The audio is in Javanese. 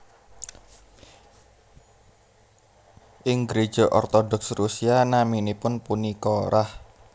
Ing gréja ortodoks Rusia naminipun punika Rah